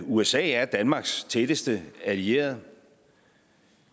usa er danmarks tætteste allierede